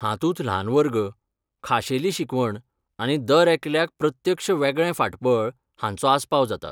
हातूंत ल्हान वर्ग, खाशेली शिकवण आनी दरेकल्याक प्रत्यक्ष वेगळें फाटबळ हांचो आसपाव जाता.